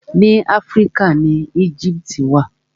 Ni Áfíríkà ni Éjíptì wà.